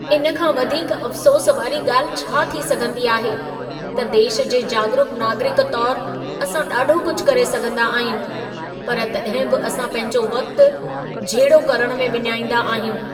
इन खां वधीक अफ़सोस वारी ॻाल्हि छा थी सघंदी आहे, त देश जे जाॻरूक नागरिक तौरु असां ॾाढो कुझु करे सघंदा आहियूं, पर तॾहिं बि असां पंहिंजो वक़्ति झेड़ो करणु में विञाईंदा आहियूं।